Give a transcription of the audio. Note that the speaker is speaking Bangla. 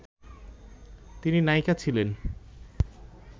তিনি নায়িকা ছিলেন